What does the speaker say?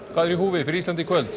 er í húfi fyrir Ísland í kvöld